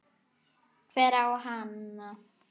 Hver á hana?